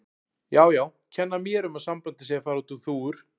Já, já, kenna mér um að sambandið sé að fara út um þúfur.